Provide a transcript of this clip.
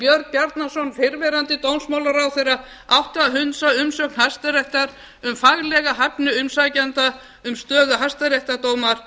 björn bjarnason fyrrverandi dómsmálaráðherra átti að hundsa umsögn hæstaréttar um faglega hæfni umsækjenda um stöðu hæstaréttardómara